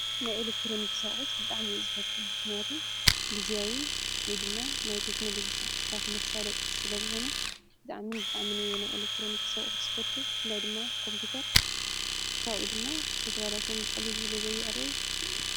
ንኤለክጥሮንክ ኣቁሑትት ብጣም እየ ዝፈቱ። ምክንያቱ ጊዜኣዊ ውይ ድማ ናይ ቴክኖሎጂ ሥራሕትታት መሳለጥ ስለ ዝኾኑ ብጥኣምን ናይ ኤለክጥሮንክስ ኣቁሑት ዝፈቱ ብፍላይ ድማ ኮምፒውተር ብፍላይ ድማ ተትብላሸም በቕሊሉ ስለ ዘይዕረዩ።